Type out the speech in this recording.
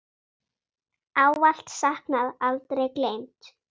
Ávallt saknað, aldrei gleymd.